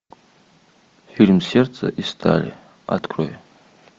фильм сердце из стали открой